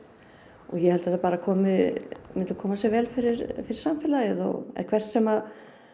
og ég held þetta myndi koma sér vel fyrir fyrir samfélagið eða hvert sem